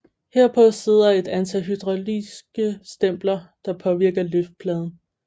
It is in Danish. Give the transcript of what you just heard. Herpå sidder et antal hydrauliske stempler der påvirker liftpladen